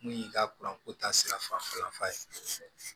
Mun y'i ka kuranko ta sirafa ye